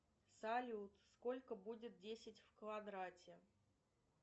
салют сколько будет десять в квадрате